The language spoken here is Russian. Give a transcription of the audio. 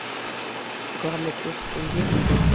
главный курс тенге к фунту